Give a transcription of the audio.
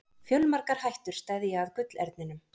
Fjölmargar hættur steðja að gullerninum.